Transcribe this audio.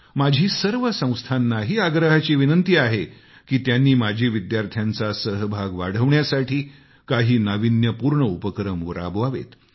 माझी सर्व संस्थांनाही आग्रहाची विनंती आहे की त्यांनी माजी विद्यार्थ्यांचा सहभाग वाढवण्यासाठी काही नाविन्यपूर्ण उपक्रम राबवावेत